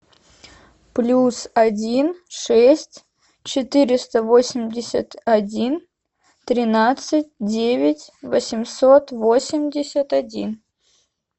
плюс один шесть четыреста восемьдесят один тринадцать девять восемьсот восемьдесят один